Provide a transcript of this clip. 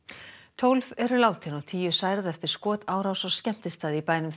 tólf eru látin og tíu særð eftir skotárás á skemmtistað í bænum